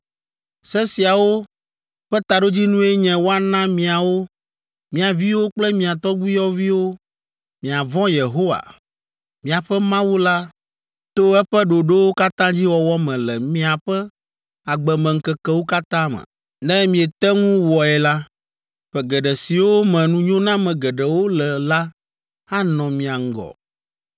Se siawo ƒe taɖodzinue nye woana miawo, mia viwo kple mia tɔgbuiyɔviwo miavɔ̃ Yehowa, miaƒe Mawu la to eƒe ɖoɖowo katã dzi wɔwɔ me le miaƒe agbemeŋkekewo katã me. Ne miete ŋu wɔe la, ƒe geɖe siwo me nunyoname geɖewo le la anɔ mia ŋgɔ,